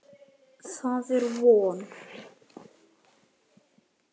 Það er von.